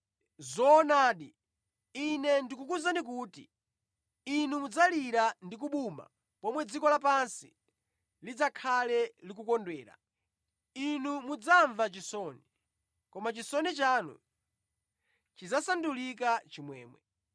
Zoonadi, Ine ndikukuwuzani kuti inu mudzalira ndi kubuma pomwe dziko lapansi lidzakhale likukondwera. Inu mudzamva chisoni, koma chisoni chanu chidzasandulika chimwemwe.